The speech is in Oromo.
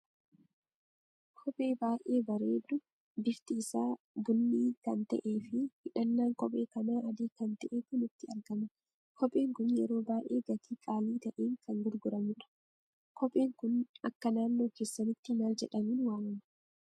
Kophee baay'ee bareedu bifti isa bunni kan ta'e fi hidhannan kophee kana adii kan ta'etu nutti argama. Kopheen kun yeroo baay'ee gaatii qaalii ta'een kan gurguramudha. Kopheen kun akka naannoo keessanitti maal jedhamun waamama?